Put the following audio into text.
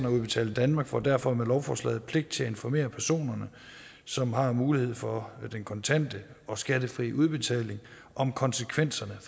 udbetaling danmark får derfor med lovforslaget pligt til at informere personerne som har mulighed for den kontante og skattefri udbetaling om konsekvenserne af